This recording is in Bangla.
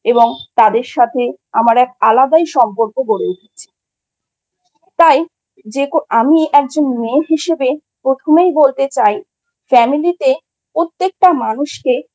এবং তাদের সাথে আমার এক আলাদাই সম্পর্ক গড়ে উঠেছে। তাই যে আমি একজন মেয়ে হিসেবে প্রথমেই বলতে চাই, Family তে প্রত্যেকটা মানুষকে